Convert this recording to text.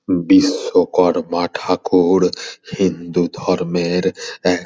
বিশ্বকর্মা ঠাকুর হিন্দু ধর্মের এক --